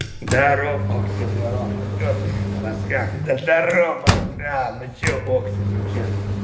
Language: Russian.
даров оксимирон ну что ты рассказывай да даров братан ну что окси ну что